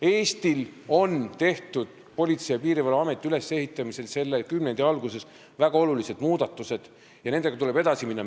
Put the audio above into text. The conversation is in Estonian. Eesti tegi Politsei- ja Piirivalveameti ülesehitamisel selle kümnendi alguses väga olulised muudatused ja nendega tuleb edasi minna.